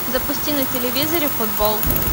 запусти на телевизоре футбол